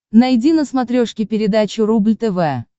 найди на смотрешке передачу рубль тв